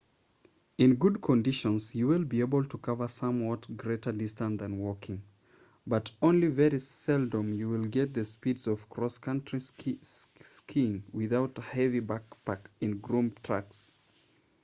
in good conditions you will be able to cover somewhat greater distances than walking but only very seldom you will get the speeds of cross country skiing without a heavy backpack in groomed tracks